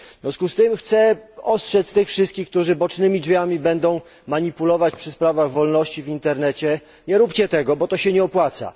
W związku z tym chcę ostrzec tych wszystkich, którzy bocznymi drzwiami będą usiłować wprowadzić zmiany dotyczące wolności w internecie nie róbcie tego, bo to się nie opłaca.